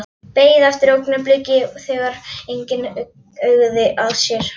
Beið eftir augnabliki þegar enginn uggði að sér.